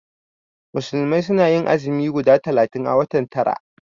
Musulmai suna yin azumi guda talatin a watan tara